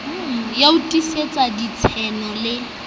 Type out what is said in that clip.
ya ho tiisetsa ditshaeno le